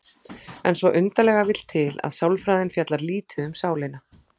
En svo undarlega vill til að sálfræðin fjallar lítið um sálina.